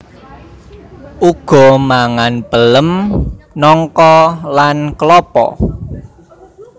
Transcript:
Uga mangan pelem nangka lan klapa